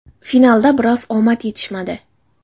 Finalda biroz omad yetishmadi.